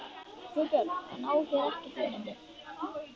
GUÐBJÖRG: Hann á hér ekkert erindi.